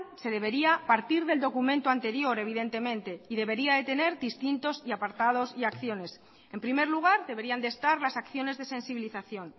se debería partir del documento anterior evidentemente y debería de tener distintos apartados y acciones en primer lugar deberían de estar las acciones de sensibilización